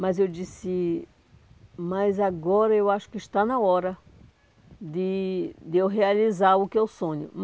Mas eu disse, mas agora eu acho que está na hora de de eu realizar o que eu sonho.